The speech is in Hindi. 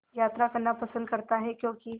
यात्रा करना पसंद करता है क्यों कि